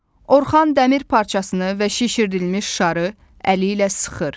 Orxan dəmir parçasını və şişirdilmiş şarı əli ilə sıxır.